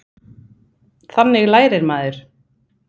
Þannig lærir maður.